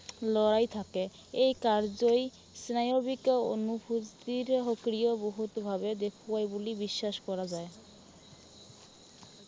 লৰাই থাকে। এই কাৰ্যই স্নায়ৱিক অনুভূতিৰ সক্ৰিয় বহুত ভাৱে দেখুৱাই বুলি বিশ্বাস কৰা যায়।